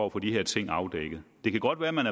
at få de her ting afdækket det kan godt være at man